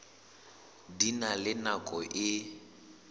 di na le nako e